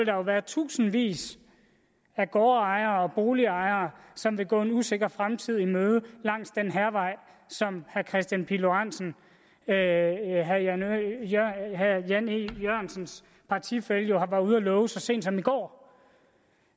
jo være tusindvis af gårdejere og boligejere som ville gå en usikker fremtid i møde langs den hærvej som herre kristian pihl lorentzen herre herre jan e jørgensens partifælle jo var ude at love så sent som i går